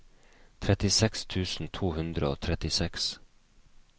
trettiseks tusen to hundre og trettiseks